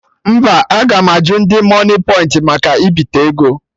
Mba, aga m ajụ ndị moniepoint maka ibite ego